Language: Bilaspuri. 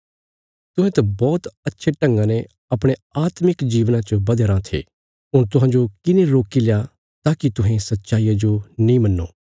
तुहें त बौहत अच्छे ढंगा ने अपणे आत्मिक जीवना च बधया राँ थे हुण तुहांजो किने रोकील्या ताकि तुहें सच्चाईया जो नीं मन्नो